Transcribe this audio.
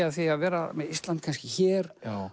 af því að vera með Ísland hér